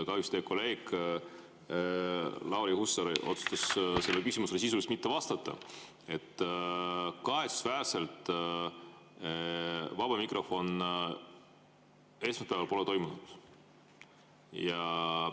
Kahjuks teie kolleeg Lauri Hussar otsustas sisuliselt mitte vastata küsimusele, miks esmaspäeval kahetsusväärselt vaba mikrofon ei toimunud.